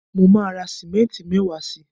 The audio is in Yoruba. mo ma ra simenti mewaa si